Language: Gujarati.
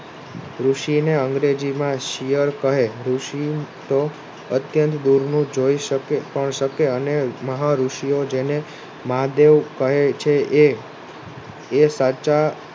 ઋષિને અંગ્રેજી માં શિયળ કહે ઋષિ તો અત્યંત દૂરનું જોઈ શકે અને મહા ઋષિઓ જેને મહાદેવ કહે છે એ એ સાચા